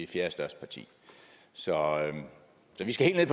fjerdestørste parti så vi skal helt